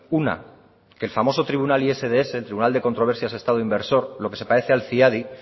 una que el famoso tribunal isds el tribunal de controversias de estado inversor lo que se parece al ciadi